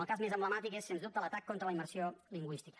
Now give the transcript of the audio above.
el cas més emblemàtic és sens dubte l’atac contra la immersió lingüística